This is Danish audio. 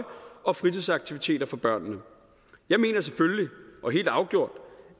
og fritidsaktiviteter for børnene jeg mener selvfølgelig og helt afgjort